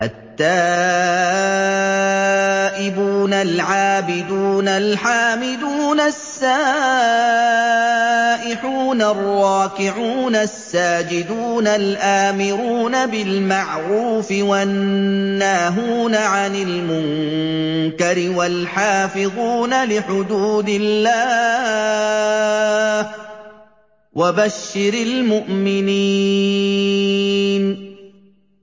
التَّائِبُونَ الْعَابِدُونَ الْحَامِدُونَ السَّائِحُونَ الرَّاكِعُونَ السَّاجِدُونَ الْآمِرُونَ بِالْمَعْرُوفِ وَالنَّاهُونَ عَنِ الْمُنكَرِ وَالْحَافِظُونَ لِحُدُودِ اللَّهِ ۗ وَبَشِّرِ الْمُؤْمِنِينَ